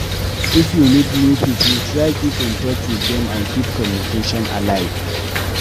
If you meet new pipo try keep in touch with dem and keep communication alive